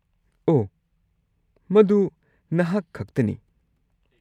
ꯑꯣꯍ, ꯃꯗꯨ ꯅꯍꯥꯛ ꯈꯛꯇꯅꯤ!